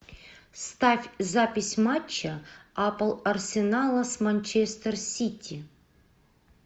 ставь запись матча апл арсенала с манчестер сити